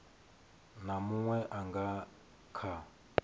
na munwe a nga kha